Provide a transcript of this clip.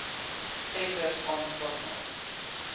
tenders aanspraak maak